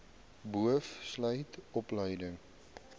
boov sluit opleiding